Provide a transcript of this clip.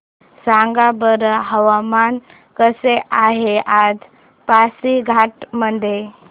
सांगा बरं हवामान कसे आहे आज पासीघाट मध्ये